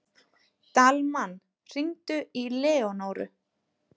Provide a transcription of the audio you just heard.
Dalmann, hringdu í Leónóru.